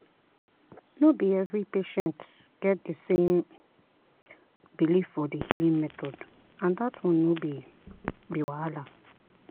no be every patient get the same belief for the healing method and that one no be be wahala.